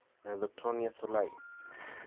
Rhizoctonia solai